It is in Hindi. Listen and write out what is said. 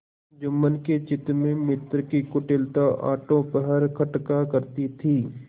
जुम्मन के चित्त में मित्र की कुटिलता आठों पहर खटका करती थी